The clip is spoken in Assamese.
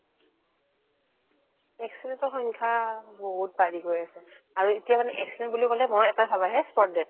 accident ৰ সংখ্যা বহুত বাঢ়ি গৈ আছে আৰু এতিয়া মানে accident বুলি ক'লে ভয় এটায়ে ভাৱ আহে spot death